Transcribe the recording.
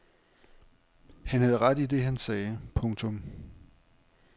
Han havde ret i det han sagde. punktum